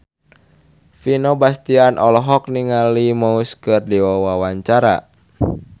Vino Bastian olohok ningali Muse keur diwawancara